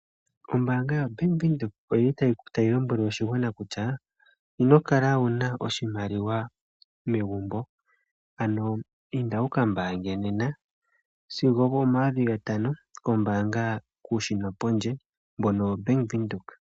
Ombaanga yoBank Windhoek otayi lombele aantu kutya ino kala wu na oshimaliwa megumbo, ano inda wu ka mbaange nena okuza pomayovi gatano puushina pondje mbono waBank Windhoek.